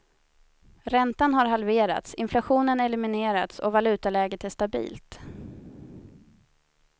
Räntan har halverats, inflationen eliminerats och valutaläget är stabilt.